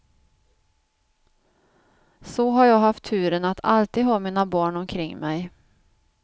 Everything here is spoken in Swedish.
Så har jag haft turen att alltid ha mina barn omkring mig.